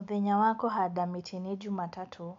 Mũthenya wa kũhada mĩtĩ nĩ Jũmatatũ.